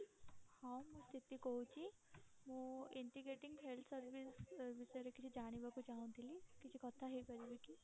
ହଁ ମୁଁ ସ୍ଥିତି କହୁଛି ମୁଁ integrating health service ବିଷୟରେ କିଛି ଜାଣିବାକୁ ଚାହୁଁଥିଲି କିଛି କଥା ହେଇ ପାରିବି କି?